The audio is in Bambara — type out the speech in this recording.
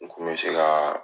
N kun bɛ se ka